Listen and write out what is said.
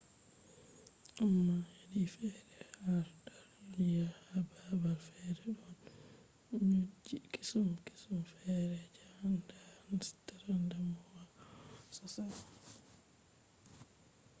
amma hedi fere har dar duniya ,ha babal fere don nyoji kesum kesum fere je a anda ,a nastan damuwa sosai